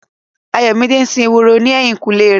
Ayọ̀mídé ń sin ehoro ní ẹ̀yìnkùlé rẹ̀.